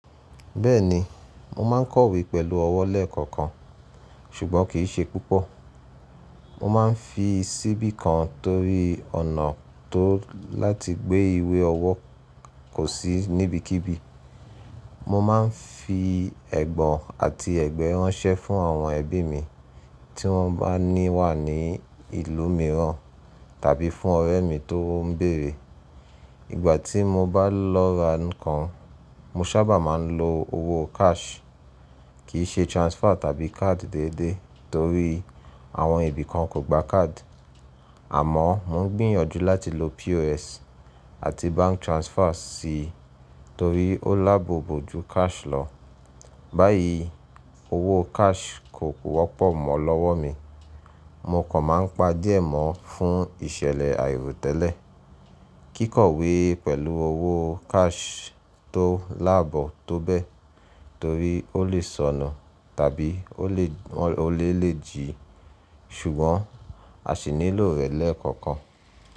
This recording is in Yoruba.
Bẹ́ẹ̀ni, mo má ń kọ̀wé pẹ̀lú ọwọ́ lẹ́ẹ̀kọ̀kan, ṣùgbọ́n kì í ṣe púpọ̀. Mo máa ń fi ṣíbí kan torí ọ̀nà tó láti gbé ìwé ọwọ́ kò sí níbikíbi. Mo máa ń fi ẹ̀gbọ́n àti ẹ̀gbẹ́ ránṣẹ́ fún àwọn ẹbí mi, tí wọ́n bá ní wà ní ìlú mìíràn tàbí fún ọ̀rẹ́ mi tó ń bèrè. Ìgbà tí mo bá lọ ra nǹkan, mo sábà máa ń lo owó cash, kì í ṣe transfer tàbí card déédéé torí àwọn ibi kan kò gba card. Àmọ́ mò ń gbìyànjú láti lo POS àti bank transfer síi torí ó lábọlò jú cash lọ. Báyìí owó cash kò wọ́pọ̀ mọ́ lọ́wọ́ mi, mo kò máa ń pa jẹ́ mọ́ fún ìṣẹ̀lẹ̀ àì ro tẹ́lẹ̀. Kí kọ̀wé pẹ̀lú owó cash tó lábọ tó bẹ́ẹ̀ torí ó le sọnu tàbí òle lè jí, ṣùgbọ́n a sì nílò rẹ̀ lẹ́ẹ̀kọ̀kan.